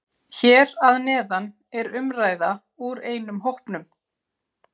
Hér að neðan er umræða úr einum hópnum